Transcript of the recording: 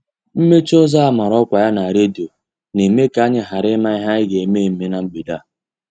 Mmechi ụzọ a mara ọkwa ya na redio na-eme ka anyị ghara ịma ihe anyị ga-eme eme na mgbede a.